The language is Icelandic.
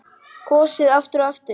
Kosið aftur og aftur?